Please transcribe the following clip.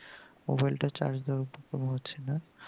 mobile টা charge দেওয়া হচ্ছে না